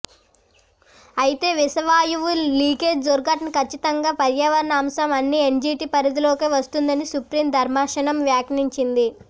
అయితే విషవాయువు లీకేజ్ దుర్ఘటన కచ్చితంగా పర్యావరణ అంశం అని ఎన్జీటీ పరిధిలోకే వస్తుందని సుప్రీం ధర్మాసనం వ్యాఖ్యానించింది